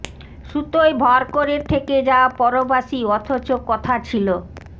সুতোয় ভর করে থেকে যাও পরবাসী অথচ কথা ছিলো